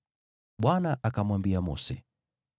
Bwana akamwambia Mose,